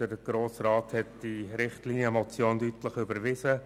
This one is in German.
Der Grosse Rat hat die Richtlinienmotion 210-2016 deutlich überwiesen.